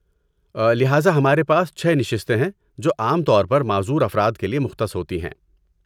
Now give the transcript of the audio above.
لہذا ہمارے پاس چھ نشستیں ہیں جو عام طور پر معذور افراد کے لیے مختص ہوتی ہیں۔